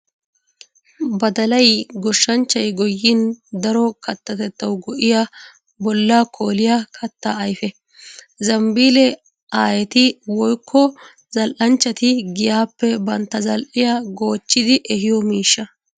Badallay goshanchchay goyin daro katatettawu go'iya bolla koolliya katta ayfe. Zambbille aayetti woykko zal'inchchatti giyappe bantta zali'iya goochchiddi ehiyo miishsha